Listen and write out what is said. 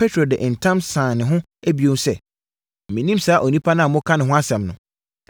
Petro de ntam sane ne ho bio sɛ, “Mennim saa onipa a moreka ne ho asɛm no.”